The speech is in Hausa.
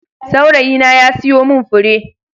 Saurayina ya siyo min fure.